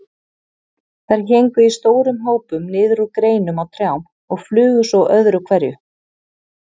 Þær héngu í stórum hópum niður úr greinum á trjám og flugu svo öðru hverju.